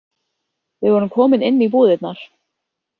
Við vorum komin inn í búðirnar.